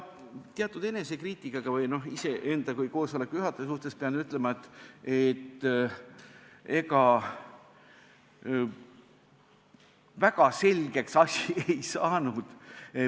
Teatud enesekriitikaga iseenda kui koosoleku juhataja kohta pean ütlema, et ega väga selgeks see asi ei saanud.